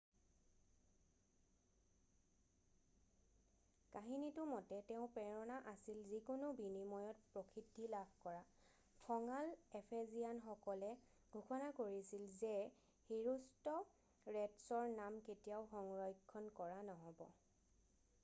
কাহিনীটো মতে তেওঁৰ প্ৰেৰণা আছিল যিকোনো বিনিময়ত প্ৰসিদ্ধি লাভ কৰা খঙাল এফেজিয়ানসকলে ঘোষণা কৰিছিল যে হিৰোষ্টৰেটছৰ নাম কেতিয়াও সংৰক্ষণ কৰা নহ'ব